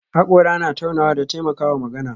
Hakora na taunawa da taimakawa magana